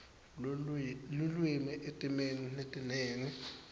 lulwimi etimeni letinengi